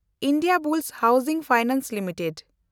Indiabulls housing finance limited